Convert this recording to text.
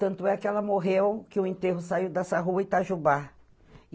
Tanto é que ela morreu que o enterro saiu dessa rua Itajubá.